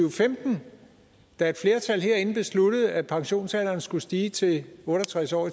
og femten da et flertal herinde besluttede at pensionsalderen skulle stige til otte og tres år